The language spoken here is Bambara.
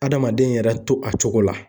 Adamaden yɛrɛ to a cogo la